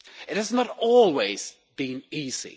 It has not always been easy.